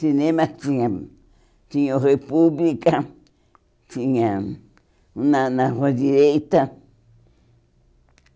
Cinema tinha... Tinha o República, tinha... Um na na Rua Direita.